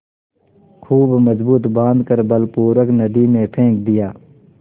खूब मजबूत बॉँध कर बलपूर्वक नदी में फेंक दिया